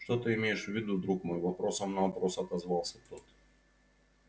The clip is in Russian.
что ты имеешь в виду друг мой вопросом на вопрос отозвался тот